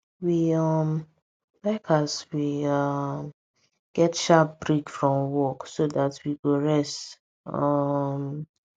we um like as we um get sharp break from work so that we go rest um